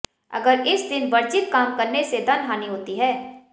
अगर इस दिन वर्जित काम करने से धन हानि होती है